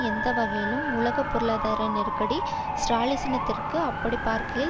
எந்த வழிவகையையும் உலக பொருளாதார நெருக்கடி ஸ்ராலினிசத்திற்கு அப்படி பார்க்கையில்